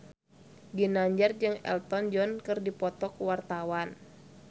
Ginanjar jeung Elton John keur dipoto ku wartawan